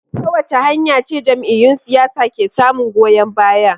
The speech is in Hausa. Ta wace hanya ce jam’iyyun siyasa ke samun goyon baya?